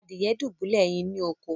Adìye dubulẹ ẹyìn ni òkó.